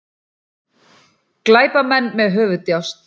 Glæpamenn með höfuðdjásn